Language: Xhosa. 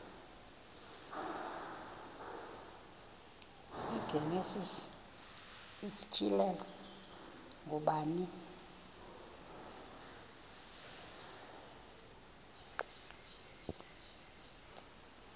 igenesis isityhilelo ngubani